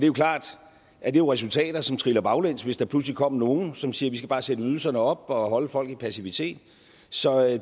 jo klart at det er resultater som triller baglæns hvis der pludselig kommer nogle som siger vi skal bare sætte ydelserne op og holde folk i passivitet så